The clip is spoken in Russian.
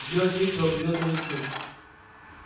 делать нечего придётся рискнуть